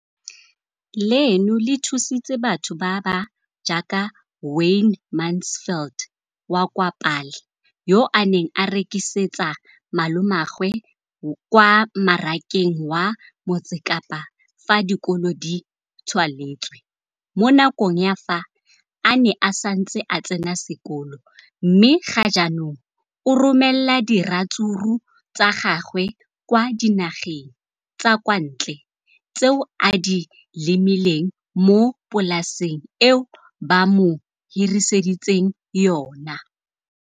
leno le thusitse batho ba ba jaaka Wayne Mansfield, 33, wa kwa Paarl, yo a neng a rekisetsa malomagwe kwa Marakeng wa Motsekapa fa dikolo di tswaletse, mo nakong ya fa a ne a santse a tsena sekolo, mme ga jaanong o romela diratsuru tsa gagwe kwa dinageng tsa kwa ntle tseo a di lemileng mo polaseng eo ba mo hiriseditseng yona.